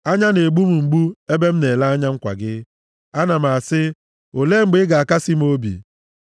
Anya na-egbu m mgbu ebe m na-ele anya nkwa gị; ana m asị, “Olee mgbe ị ga-akasị m obi?”